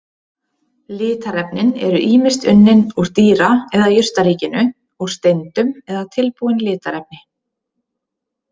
Litarefnin eru ýmist unnin úr dýra- eða jurtaríkinu, úr steindum eða tilbúin litarefni.